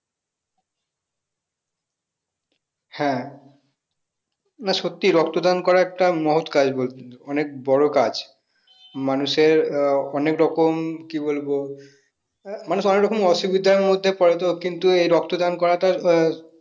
হ্যাঁ না সত্যিই রক্তদান করা একটা মহৎ কাজ অনেক বড় কাজ মানুষেৱ আহ অনেক রকম কি বলবো আহ মানুষ অনেকরকম অসুবিধার মধ্যে পড়ে তো কিন্তু এই রক্তদান করাটা আহ